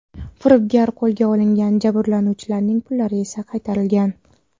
Firibgar qo‘lga olingan, jabrlanuvchilarning pullari esa qaytarilgan.